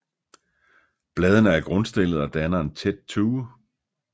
Bladene er grundstillede og danner en tæt tue